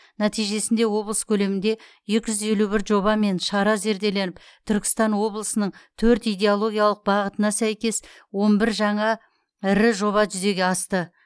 нәтижесінде облыс көлемінде екі жүз елу бір жоба мен шара зерделеніп түркістан облысының төрт идеологиялық бағытына сәйкес он бір жаңа ірі жоба жүзеге асты